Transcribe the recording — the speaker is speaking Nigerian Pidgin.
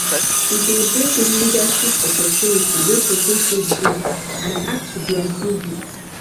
e de brind leadership opportunity wey persin fit do and add to their their vc